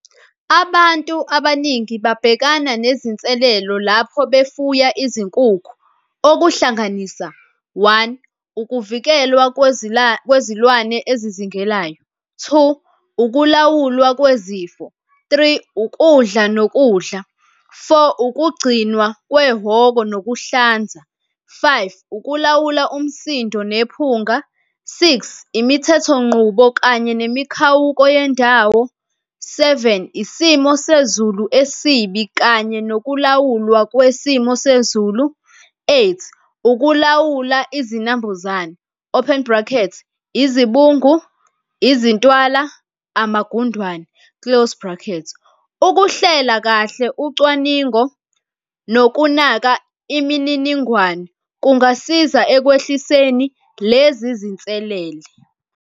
Abantu abaningi babhekana nezinselelo lapho befuya izinkukhu, okuhlanganisa one, ukuvikelwa kwezilwane ezizingelayo. Two, ukulawulwa kwezifo. Three, ukudla nokudla. Four, ukugcinwa kwehhoko nokuhlanza. Five, ukulawula umsindo nephunga. Six, imithethonqubo kanye nemikhawuko yendawo. Seven, isimo sezulu esibi kanye nokulawulwa kwesimo sezulu. Eight, ukulawula izinambuzane, open bracket, izibungu, izintwala, amagundwane, close bracket. Ukuhlela kahle ucwaningo nokunaka imininingwane kungasiza ekwehliseni lezi zinselele.